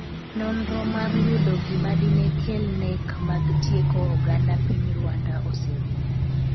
nonro mar yudo gima dine kel nek mag tieko oganda piny Rwanda oserumo